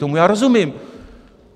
Tomu já rozumím.